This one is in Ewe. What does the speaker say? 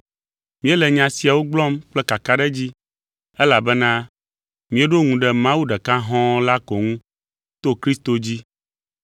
Míele nya siawo gblɔm kple kakaɖedzi, elabena míeɖo ŋu ɖe Mawu ɖeka hɔ̃ la ko ŋu to Kristo dzi.